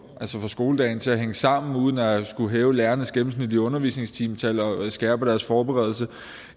skoledagen til at hænge sammen uden at skulle hæve lærernes gennemsnitlige undervisningstimetal og skærpe deres forberedelse